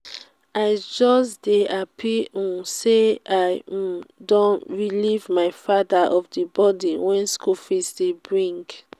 i just dey happy um say i um don relieve my father of the burden wey school fees dey bring